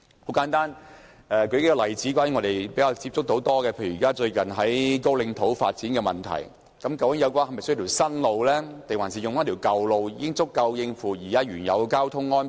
很簡單，我們較多接觸的，例如有關高嶺土的發展，究竟那裏是否需要興建一條新路，還是舊路已經足夠應付現時的交通量？